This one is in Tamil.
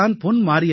இவர் தான் பொன்